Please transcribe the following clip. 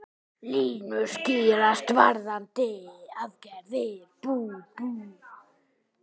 Línur skýrast varðandi aðgerðir